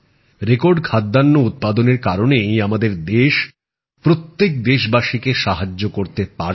record খাদ্যশস্য উৎপাদনের কারণেই আমাদের দেশ প্রত্যেক দেশবাসীকে সাহায্য করতে পারছে